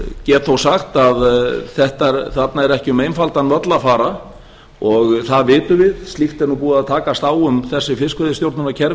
get þó sagt að þarna er ekki um einfaldan völl að fara það vitum við slíkt er nú búið að takast á um þessi fiskveiðistjórnunarkerfi